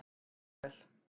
Bóel